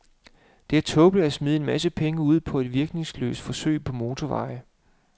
Det er tåbeligt at smide en masse penge ud på et virkningsløst forsøg på motorveje.